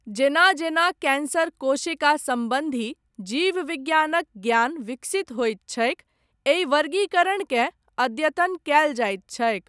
जेना जेना कैन्सर कोशिका सम्बन्धी, जीव विज्ञानक ज्ञान विकसित होइत छैक, एहि वर्गीकरणकेँ अद्यतन कयल जाइत छैक।